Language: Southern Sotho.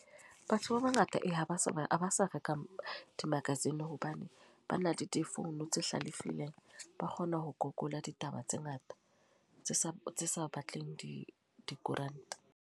Batho ba bangata ee ha ba sa, ha ba sa reka di-magazine. Hobane ba na le difounu tse hlalefileng. Ba kgona ho google ditaba tse ngata, tse sa tse sa batleng di dikoranta.